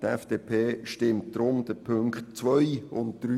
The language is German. Die FDP stimmt deshalb den Punkten 2 und 3 zu.